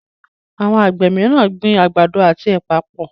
Awọn Àgbè míràn gbìn àgbàdo àti ẹpa pọ.